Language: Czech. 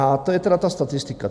A to je teda ta statistika.